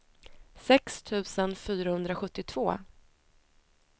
sex tusen fyrahundrasjuttiotvå